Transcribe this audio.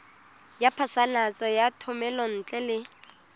ya phasalatso ya thomelontle le